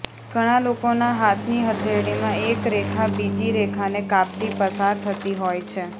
ઘણા લોકોના હાથની હથેળીમાં એક રેખા બીજી રેખાને કાપતી પસાર થતી હોય છે